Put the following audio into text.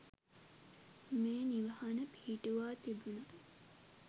මේ නිවහන පිහිටුවා තිබුණා.